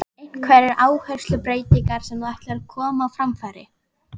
Einhverjar áherslubreytingar sem þú ætlar að koma á framfæri?